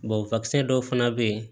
dɔw fana bɛ yen